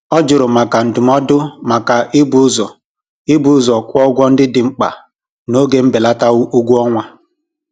Ọ jụrụ maka ndụmọdụ maka ibu ụzọ ibu ụzọ kwụ ụgwọ ndị dị mkpa n'oge mbelata ụgwọọnwa.